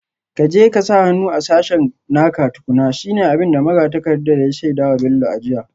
Ka je ka sa hannu a sashen naka tukuna, shi ne abin da magatakardar ya shaida wa Bello a jiya